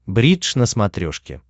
бридж на смотрешке